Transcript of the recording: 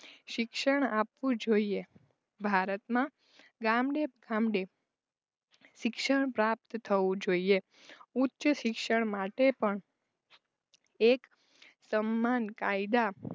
શિક્ષણ આપવું જોઈએ ભારતમાં ગામડે ફામદે શિક્ષણ પ્રાપ્ત થવું જોઈએ ઉચ્ચ શિક્ષણ માટે પણ એક સમ્માન કાયદા